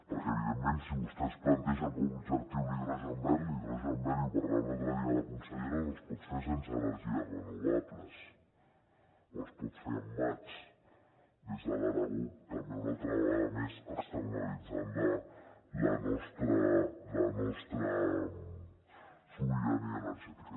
perquè evidentment si vostès plantegen com a objectiu l’hidrogen verd l’hidrogen verd i ho parlava l’altre dia la consellera no es pot fer sense energies renovables però es pot fer amb mats des de l’aragó també una altra vegada més externalitzant la nostra sobirania energètica